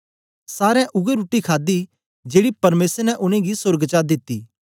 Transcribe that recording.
सारें उवै रुट्टी खादी जेड़ी परमेसर ने उनेंगी सोर्ग चा दिती